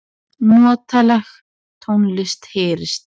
Notaleg tónlist heyrist.